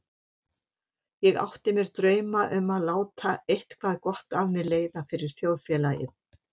Ég átti mér drauma um að láta eitthvað gott af mér leiða fyrir þjóðfélagið.